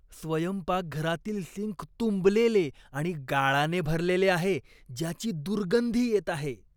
स्वयंपाकघरातील सिंक तुंबलेले आणि गाळाने भरलेले आहे, ज्याची दुर्गंधी येत आहे.